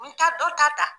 N ta dɔ ta ta